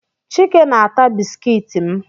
Chike na-ata bisikiiti m